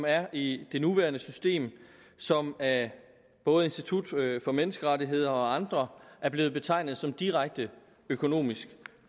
er i det nuværende system som af både institut for menneskerettigheder og andre er blevet betegnet som direkte økonomisk